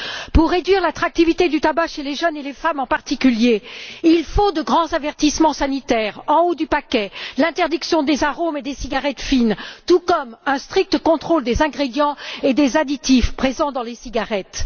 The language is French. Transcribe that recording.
Pour réduire l'attractivité du tabac chez les jeunes et les femmes en particulier, il faut de grands avertissements sanitaires en haut du paquet, l'interdiction des arômes et des cigarettes fines, tout comme un strict contrôle des ingrédients et des additifs présents dans les cigarettes.